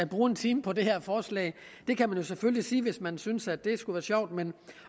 bruge en time på det her forslag det kan man selvfølgelig sige hvis man synes at det skulle være sjovt men